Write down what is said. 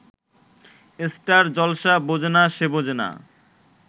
star Jalsha বোঝেনা সে বোঝেনা